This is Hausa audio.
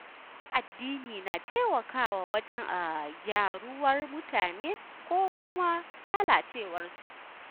Malaman addini na taimakawa wajen gyaruwar mutane ko kuma lalacewarsu